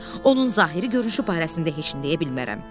onun zahiri görünüşü barəsində heç nə deyə bilmərəm.